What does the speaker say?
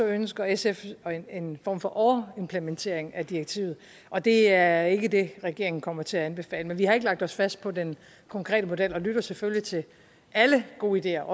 ønsker sf en form for overimplementering af direktivet og det er ikke det regeringen kommer til at anbefale men vi har ikke lagt os fast på den konkrete model og lytter selvfølgelig til alle gode ideer